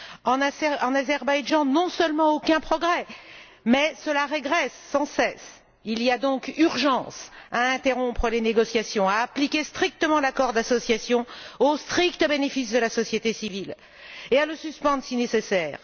En Azerbaïdjan, non seulement aucun progrès mais cela régresse sans cesse. Il y a donc urgence à interrompre les négociations, à appliquer strictement l'accord d'association au strict bénéfice de la société civile et à le suspendre si nécessaire.